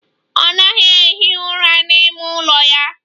Ọ naghị ehi ụra n'ime ụlọ ya.